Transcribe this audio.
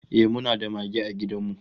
Ehh, muna da mage a gidan mu